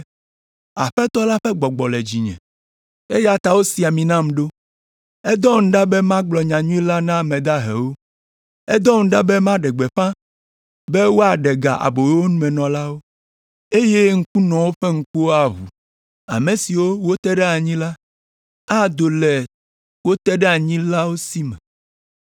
“Aƒetɔ la ƒe Gbɔgbɔ le dzinye, eya ta wosi ami nam ɖo, edɔm ɖa be magblɔ nyanyui la na ame dahewo, edɔm ɖa be maɖe gbeƒã be woaɖe ga aboyomenɔlawo, eye ŋkunɔwo ƒe ŋkuwo aʋu. Ame siwo wote ɖe anyi la, ado le wo teɖeanyilawo si me,